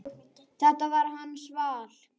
Þetta er hans val.